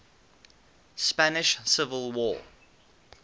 spanish civil war